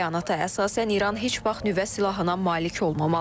Bəyanata əsasən İran heç vaxt nüvə silahına malik olmamalıdır.